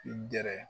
I gɛrɛ